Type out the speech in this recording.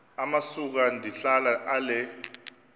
amasuka ndihlala ale